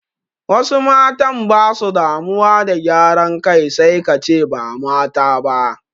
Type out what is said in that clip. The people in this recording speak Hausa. Wasu matan basu damuwa da gyaran kai sai kace ba mata ba